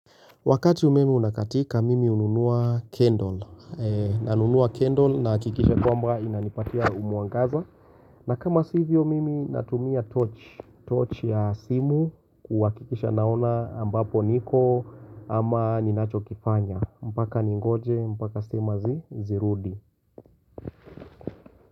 Wakati umeme unakatika, mimi hununua kendol. Na nunua kendol naakikisha kwamba inanipatia umwangaza. Na kama sivyo mimi natumia torch. Torch ya simu kuwakikisha naona ambapo niko ama ninacho kifanya. Mbaka ningoje, mbaka stima zi, zirudi.